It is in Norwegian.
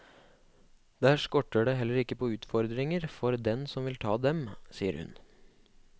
Der skorter det heller ikke på utfordringer for den som vil ta dem, sier hun.